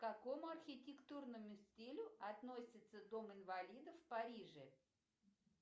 к какому архитектурному стилю относится дом инвалидов в париже